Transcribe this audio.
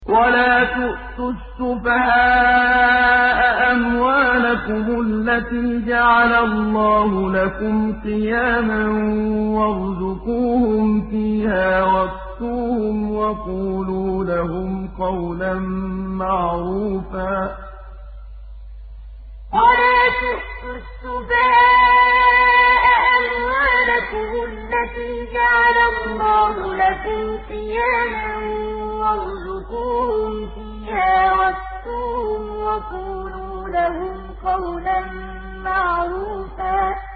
وَلَا تُؤْتُوا السُّفَهَاءَ أَمْوَالَكُمُ الَّتِي جَعَلَ اللَّهُ لَكُمْ قِيَامًا وَارْزُقُوهُمْ فِيهَا وَاكْسُوهُمْ وَقُولُوا لَهُمْ قَوْلًا مَّعْرُوفًا وَلَا تُؤْتُوا السُّفَهَاءَ أَمْوَالَكُمُ الَّتِي جَعَلَ اللَّهُ لَكُمْ قِيَامًا وَارْزُقُوهُمْ فِيهَا وَاكْسُوهُمْ وَقُولُوا لَهُمْ قَوْلًا مَّعْرُوفًا